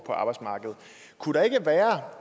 og